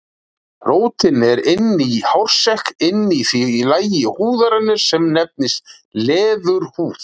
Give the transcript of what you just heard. Rótin er inni í hársekk inni í því lagi húðarinnar sem nefnist leðurhúð.